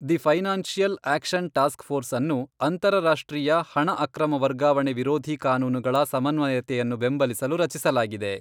The financial action task force ಅನ್ನು ಅಂತರರಾಷ್ಟ್ರೀಯ ಹಣ ಅಕ್ರಮ ವರ್ಗಾವಣೆ ವಿರೋಧಿ ಕಾನೂನುಗಳ ಸಮನ್ವಯತೆಯನ್ನು ಬೆಂಬಲಿಸಲು ರಚಿಸಲಾಗಿದೆ.